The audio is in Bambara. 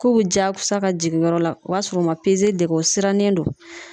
K'u bɛ jaakosa ka jigin yɔrɔ la o y'a sɔrɔ u man pezeli de kɛ o sirannen do.